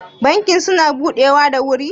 bankin suna budewa da wuri?